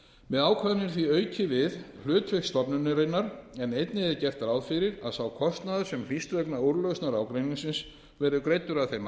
með ákvæðinu er því aukið við hlutverk stofnunarinnar en einnig er gert ráð fyrir að sá kostnaður sem hlýst vegna úrlausnar ágreiningsins verði greiddur af þeim